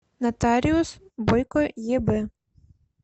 нотариус бойко еб